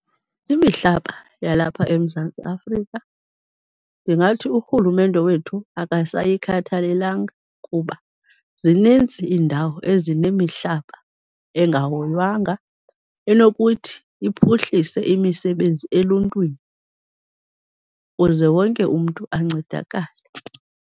Imihlaba yalapha eMzantsi Afrika, ndingathi urhulumente wethu akasayikhathalelanga, kuba zininzi iindawo ezinemihlaba engahoywanga enokuthi iphuhlise imisebenzi eluntwini, kuze wonke umntu ancedakale.